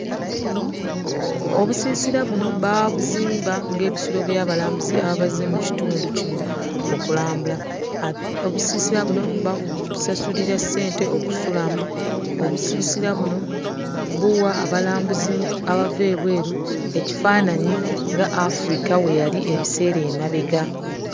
Obusiisira buno baabuzimba ng'ebisulo by'abalambuzi ababa bazze mu kitundu kino okulambula. Obusiisira buno babusasulira ssente okusulamu, obusiisira buno buwa abalambuzi abava ebweru ekifaananyi nga Africa we yali ebiseera emabega.